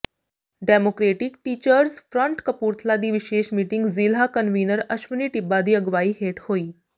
democratic teachers front Kapurthala ਦੀ ਵਿਸ਼ੇਸ਼ meeting ਜ਼ਿਲ੍ਹਾ ਕਨਵੀਨਰ ਅਸ਼ਵਨੀ ਟਿੱਬਾ ਦੀ ਅਗਵਾਈ ਹੇਠ ਹੋਈ